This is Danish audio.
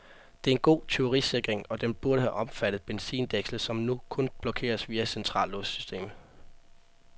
Det er en god tyverisikring, og den burde have omfattet benzindækslet, som nu kun blokeres via centrallåssystemet.